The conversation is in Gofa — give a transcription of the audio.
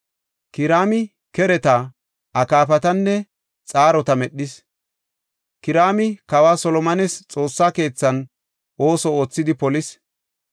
Kiraami kereta, akaafatanne xaarota medhis; Kiraami kawa Solomones Xoossaa keethan ooso oothidi polis.